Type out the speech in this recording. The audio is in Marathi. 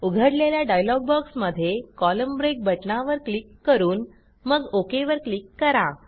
उघडलेल्या डायलॉग बॉक्समध्ये कोलम्न ब्रेक बटणावर क्लिक करून मग ओक वर क्लिक करा